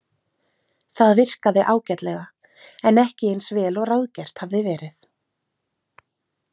Það virkaði ágætlega, en ekki eins vel og ráðgert hafði verið.